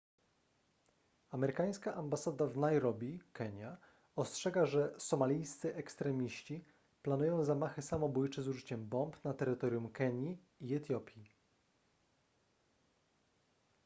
amerykańska ambasada w nairobi kenia ostrzega że somalijscy ekstremiści” planują zamachy samobójcze z użyciem bomb na terytorium kenii i etiopii